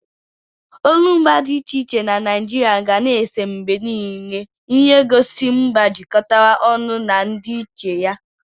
Olumba dị iche iche na Naijiria ga na-ese mgbe niile ihe ngosi mba jikọtara ọnụ na ndịiche ya.